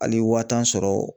Hali wa tan sɔrɔ